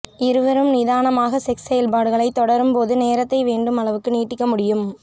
இருவரும் நிதானமாக செக்ஸ் செயல்பாடுகளைத் தொடரும்போது நேரத்தை வேண்டும் அளவுக்கு நீட்டிக்க முடியும்